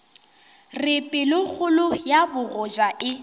re pelokgolo ya bogoja e